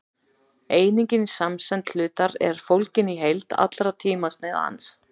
einingin í samsemd hlutar er fólgin í heild allra tímasneiða hans